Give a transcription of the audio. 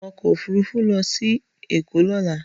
Wọ ọkọ̀ òfúrufú lọ sí Èkó lọ́la!